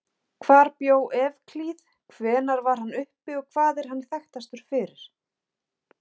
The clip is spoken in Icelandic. Hvar bjó Evklíð, hvenær var hann uppi og hvað er hann þekktastur fyrir?